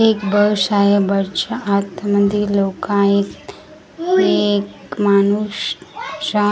एक बस आहे बसच्या आत मध्ये लोक आहेत हे एक माणूस शा .